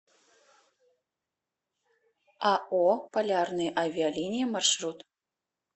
ао полярные авиалинии маршрут